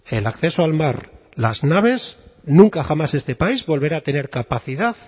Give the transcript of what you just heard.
el acceso al mar las naves nunca jamás este país volverá a tener capacidad